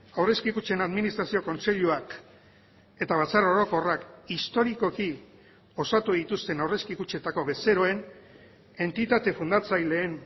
aurrezki kutxen administrazio kontseiluak eta batzar orokorrak historikoki osatu dituzten aurrezki kutxetako bezeroen entitate fundatzaileen